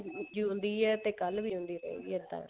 ਜਿਉਂਦੀ ਹੈ ਤੇ ਕੱਲ ਵੀ ਜਿਉਦੀ ਰਹੇਗੀ ਇੱਦਾਂ